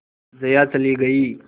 जया चली गई